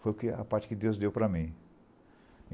Foi que a parte que Deus deu para mim.